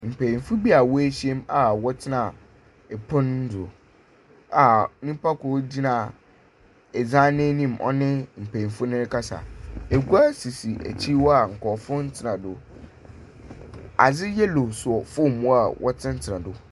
Mpanyimfo bi a woehyia mu a wɔtsena pon do a nyimpa kor gyina dan n’enyim nye mpanyimfo no rekasa egua sisi ekyir hɔ a nkorɔfo nntsena do. Adze yellow saw famu hɔ a wɔtsenatsena do.